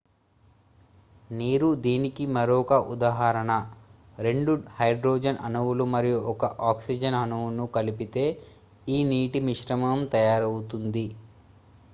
నీరు దీనికి మరొక ఉదాహరణ రెండు హైడ్రోజన్ అణువులు మరియు ఒక ఆక్సిజన్ అణువును కలిపితే ఈ నీటి మిశ్రమం తయారవుతుంది